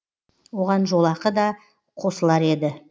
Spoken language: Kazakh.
оған жолақы да қосылар еді